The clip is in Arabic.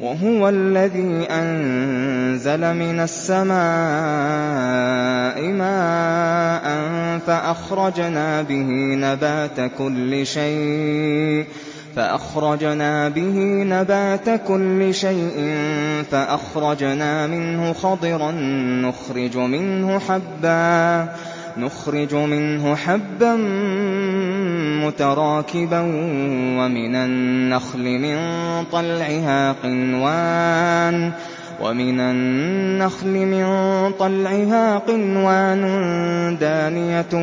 وَهُوَ الَّذِي أَنزَلَ مِنَ السَّمَاءِ مَاءً فَأَخْرَجْنَا بِهِ نَبَاتَ كُلِّ شَيْءٍ فَأَخْرَجْنَا مِنْهُ خَضِرًا نُّخْرِجُ مِنْهُ حَبًّا مُّتَرَاكِبًا وَمِنَ النَّخْلِ مِن طَلْعِهَا قِنْوَانٌ دَانِيَةٌ